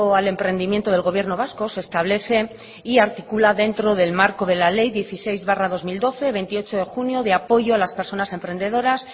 al emprendimiento del gobierno vasco se establece y articula dentro del marco de la ley dieciséis barra dos mil doce veintiocho de junio de apoyo a las personas emprendedoras